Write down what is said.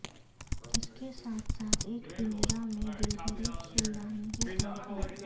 اس کے ساتھ ساتھ ایک پنجرا میں گلہری چلانے کے طور پر